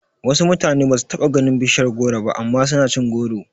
Wasu mutane basu taba ganin bishiyar goro ba amma suna cin goro